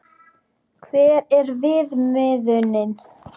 Hver er viðmiðunin?